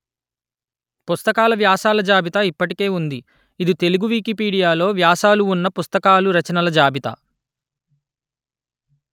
పుస్తకాల వ్యాసాల జాబితా ఇప్పటికే ఉంది ఇది తెలుగు వికీపీడియాలో వ్యాసాలు ఉన్న పుస్తకాలు రచనల జాబితా